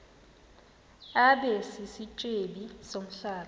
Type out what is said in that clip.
abe sisityebi somhlaba